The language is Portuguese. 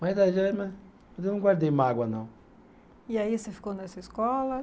Mas a né, mas eu não guardei mágoa não. E aí você ficou nessa escola?